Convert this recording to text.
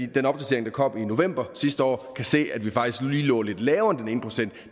den opdatering der kom i november sidste år kan se at vi faktisk lå lidt lavere end den ene procent